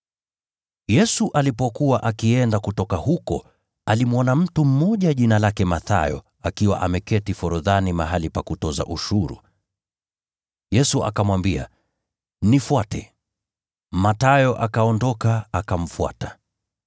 Yesu alipokuwa akienda kutoka huko, alimwona mtu mmoja jina lake Mathayo akiwa ameketi forodhani mahali pa kutoza ushuru. Yesu akamwambia, “Nifuate.” Mathayo akaondoka, akamfuata.